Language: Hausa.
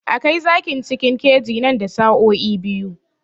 A kai zakin cikin keji nan da sa'o'i biyu